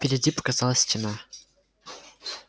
впереди показалась стена